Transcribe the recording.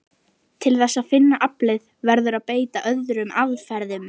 Til þess að finna aflið verður að beita öðrum aðferðum.